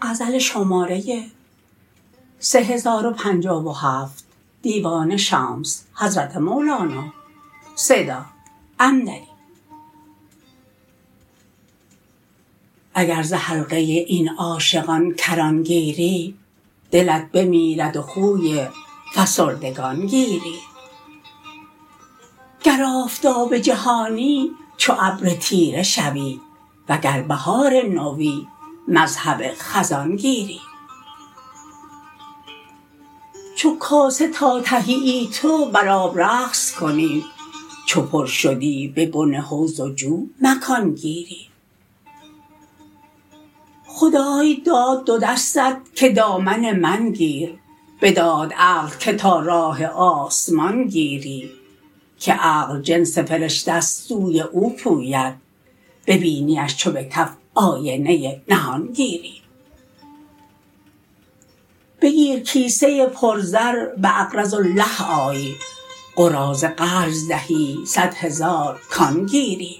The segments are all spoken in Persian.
اگر ز حلقه این عاشقان کران گیری دلت بمیرد و خوی فسردگان گیری گر آفتاب جهانی چو ابر تیره شوی وگر بهار نوی مذهب خزان گیری چو کاسه تا تهیی تو بر آب رقص کنی چو پر شدی به بن حوض و جو مکان گیری خدای داد دو دستت که دامن من گیر بداد عقل که تا راه آسمان گیری که عقل جنس فرشته ست سوی او پوید ببینیش چو به کف آینه نهان گیری بگیر کیسه پرزر باقرضواالله آی قراضه قرض دهی صد هزار کان گیری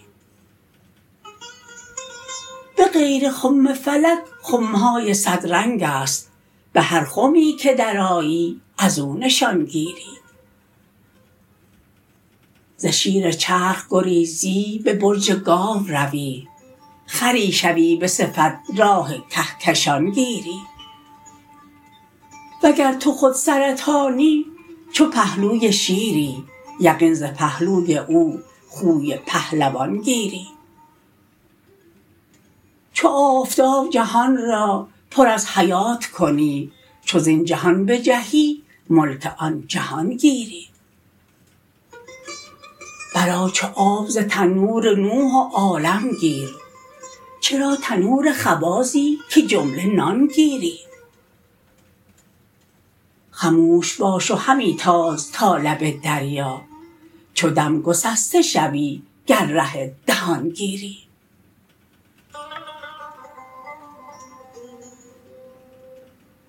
به غیر خم فلک خم های صدرنگ است به هر خمی که درآیی از او نشان گیری ز شیر چرخ گریزی به برج گاو روی خری شوی به صفت راه کهکشان گیری وگر تو خود سرطانی چو پهلوی شیری یقین ز پهلوی او خوی پهلوان گیری چو آفتاب جهان را پر از حیات کنی چو زین جهان بجهی ملک آن جهان گیری برآ چو آب ز تنور نوح و عالمگیر چرا تنور خبازی که جمله نان گیری خموش باش و همی تاز تا لب دریا چو دم گسسته شوی گر ره دهان گیری